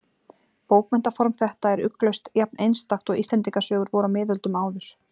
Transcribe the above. Bókmenntaform þetta er ugglaust jafn-einstakt og Íslendingasögur voru á miðöldum áður.